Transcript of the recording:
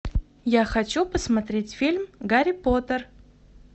я хочу посмотреть фильм гарри поттер